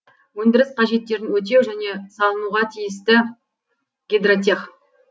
өндіріс қажеттерін өтеу және салынуға тиісті гидротех